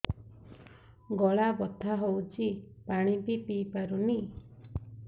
ଗଳା ବଥା ହଉଚି ପାଣି ବି ପିଇ ପାରୁନି